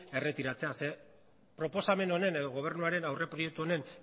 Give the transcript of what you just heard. erretiratzea zeren proposamen honen edo gobernuaren aurreproiektu honen